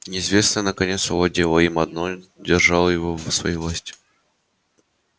неизвестное наконец овладело им оно держало его в своей власти